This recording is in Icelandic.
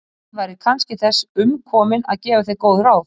Að ég væri kannski þess umkomin að gefa þér góð ráð?